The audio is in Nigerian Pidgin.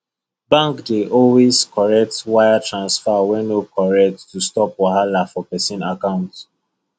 bank dey always correct wire transfer wey no correct to stop wahala for person account